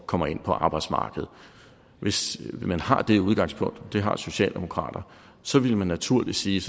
kommer ind på arbejdsmarkedet hvis man har det udgangspunkt det har socialdemokratiet så ville man naturligt sige